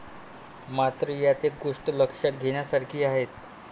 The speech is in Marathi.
मात्र, यात एक गोष्ट लक्षात घेण्यासारखी आहे.